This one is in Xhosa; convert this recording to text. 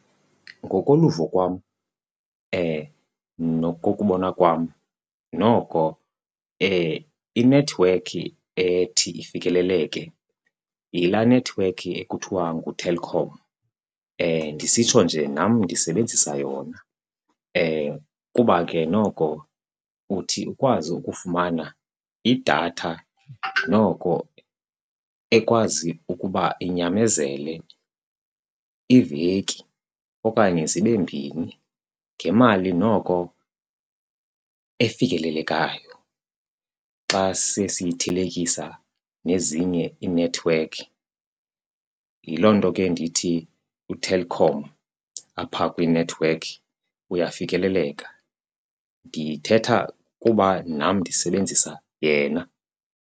Ngokoluvo kwam nokokubona kwam noko inethiwekhi ethi ifikeleleke yilaa nethiwekhi ekuthwa nguTelkom. Ndisitsho nje nam ndisebenzisa yona kuba ke noko uthi ukwazi ukufumana idatha noko ekwazi ukuba inyamezele iveki okanye zibe mbini ngemali noko efikelelekayo xa sesiyithelekisa nezinye iinethiwekhi. Yiloo nto ke ndithi utelkom apha kwiinethiwekhi uyafikeleleka. Ndithetha kuba nam ndisebenzisa yena.